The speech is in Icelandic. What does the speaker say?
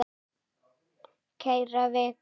Kæra Vika!